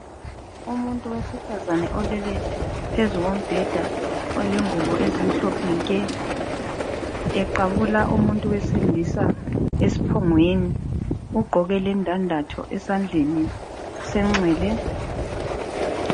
Umuntu wesifazana olele phezu kombheda olengubo ezimhlophe nke. Eqabula umuntu wesilisa esiphongweni. Ugqoke lendandatho esandleni senxele.